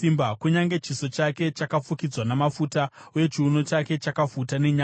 “Kunyange chiso chake chakafukidzwa namafuta uye chiuno chake chakafuta nenyama,